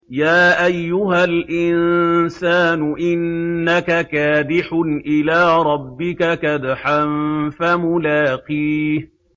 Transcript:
يَا أَيُّهَا الْإِنسَانُ إِنَّكَ كَادِحٌ إِلَىٰ رَبِّكَ كَدْحًا فَمُلَاقِيهِ